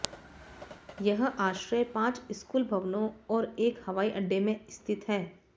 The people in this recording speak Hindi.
यह आश्रय पांच स्कूल भवनों और एक हवाई अड्डे में स्थित था